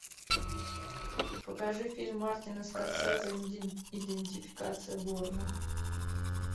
покажи фильм мартина скорсезе идентификация борна